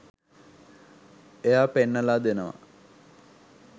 එයා පෙන්නලා දෙනවා